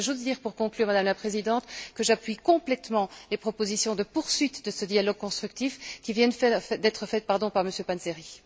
Et je voudrais juste dire pour conclure, Madame la Présidente, que j'appuie complètement les propositions de poursuite de ce dialogue constructif qui viennent d'être faites par M. Panzeri.